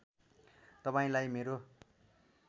तपाईँलाई मेरो